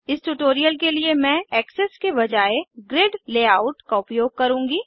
इस ट्यूटोरियल के लिए मैं एक्सेस के बजाय ग्रिड लेआउट का उपयोग करुँगी